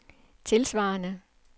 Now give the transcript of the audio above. tilsvarende